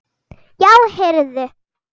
Já, heyrðu.